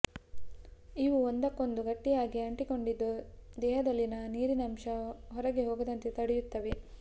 ಇವು ಒಂದಕ್ಕೊಂದು ಗಟ್ಟಿಯಾಗಿ ಅಂಟಿಕೊಂಡಿದ್ದು ದೇಹದಲ್ಲಿನ ನೀರಿನಂಶ ಹೊರಗೆ ಹೋಗದಂತೆ ತಡೆಹಿಡಿಯುತ್ತವೆ